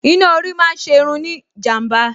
Iná orí máa ń ṣe irun ní ìjàm̀bá